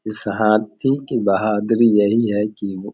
इस हाथी की बहादुरी यही है की वो --